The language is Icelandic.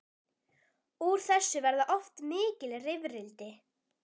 Úr þessu verða oft mikil rifrildi.